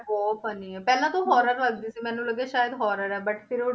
ਬਹੁਤ funny ਹੈ, ਪਹਿਲਾਂ ਤਾਂ ਉਹ horror ਲੱਗਦੀ ਸੀ ਮੈਨੂੰ ਲੱਗਿਆ ਸ਼ਾਇਦ horror ਹੈ but ਫਿਰ ਉਹ